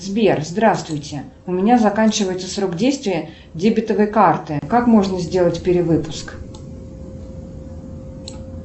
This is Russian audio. сбер здравствуйте у меня заканчивается срок действия дебетовой карты как можно сделать перевыпуск